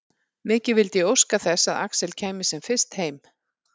Mikið vildi ég óska þess að Axel kæmi sem fyrst heim.